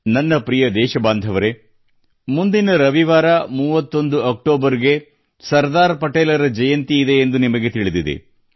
ನನ್ನ ಪ್ರಿಯ ದೇಶಬಾಂಧವರೆ ಮುಂದಿನ ರವಿವಾರ 31 ಅಕ್ಟೋಬರ್ ಗೆ ಸರ್ದಾರ್ ಪಟೇಲರ ಜಯಂತಿಯಿದೆ ಎಂದು ನಿಮಗೆ ತಿಳಿದಿದೆ